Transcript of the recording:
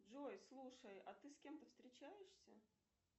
джой слушай а ты с кем то встречаешься